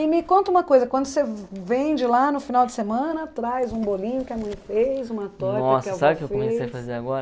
E me conta uma coisa, quando você vem de lá no final de semana, traz um bolinho que a mãe fez, uma torta que Nossa, sabe o que eu comecei a fazer agora?